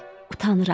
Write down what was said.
Utanıram.